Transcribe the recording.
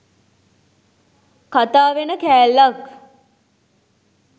කතා වෙන කෑල්ලක්.